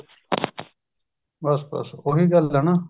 ਬੱਸ ਬੱਸ ਓਹੀ ਗੱਲ ਹੈ ਨਾ